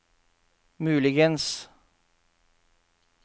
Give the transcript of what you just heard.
muligens